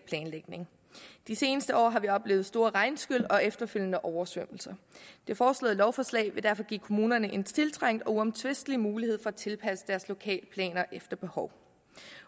planlægning i de seneste år har vi oplevet store regnskyl og efterfølgende oversvømmelser det foreslåede lovforslag vil derfor give kommunerne en tiltrængt og uomtvistelig mulighed for at tilpasse deres lokalplaner efter behov